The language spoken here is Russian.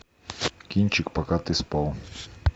кинчик пока ты спал